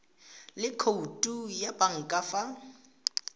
le khoutu ya banka fa